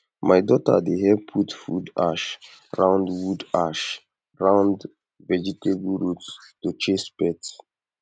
my daughter dey help put wood ash round wood ash round vegetable roots to chase pests